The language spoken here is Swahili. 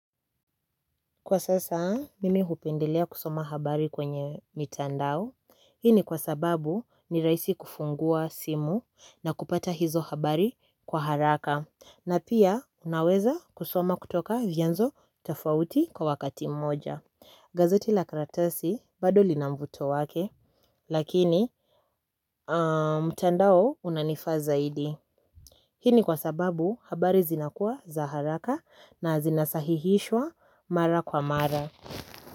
Kwa sasa, mimi hupendelea kusoma habari kwenye mitandao. Hii ni kwa sababu ni rahisi kufungua simu na kupata hizo habari kwa haraka. Na pia unaweza kusoma kutoka vyanzo tafauti kwa wakati mmoja. Gazeti la karatasi bado lina mb3uto wake, lakini mtandao unanifaa zaidi. Hii ni kwa sababu habari zinakua za haraka na zinasahihishwa mara kwa mara.